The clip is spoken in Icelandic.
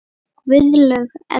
Guðlaug Edda.